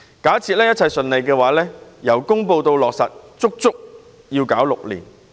假設一切順利，方案由公布到落實需時整整6年。